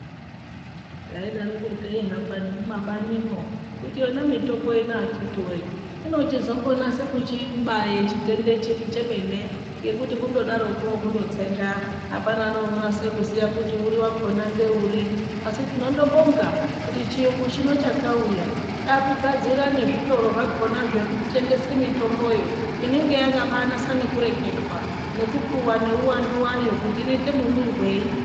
Teidaroko teihamba nemumabanimwo kuti yona mitombo ino akhiti voye. Inochizombonase kuchibaye chitenda chiri chemene ngekuti kundodaroko kundotsenga hapana neunonase kuziya kuti uri vakona ngeuri. Asi tinondo bonga kuti chiyungu chino chakauya chakugadzira nezvitoro zvakona zvekutengese mitomboyo. Inenge yakabanasa nekureketwa nekupuva neuvandu vayo kuti inoite mumwirei.